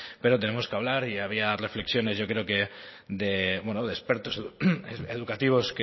pero tenemos que hablar y había reflexiones yo creo de expertos educativos